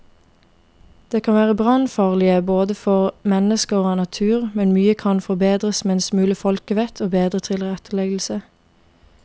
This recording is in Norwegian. De kan være brannfarlige både for mennesker og natur, men mye kan forbedres med en smule folkevett og bedre tilretteleggelse.